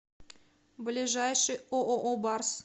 ближайший ооо барс